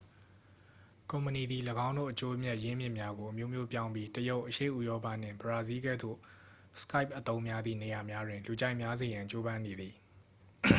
ကုမ္ပဏီသည် ၎င်းတို့ အကျိုးအမြတ် ရင်းမြစ်များကို အမျိုးမျိုးပြောင်းပြီး တရုတ် အရှေ့ဥရောပနှင့် ဘရာဇီးလ်ကဲ့သို့ skype အသုံးများသည့် နေရာများတွင် လူကြိုက်များစေရန် ကြိုးပမ်းနေသည်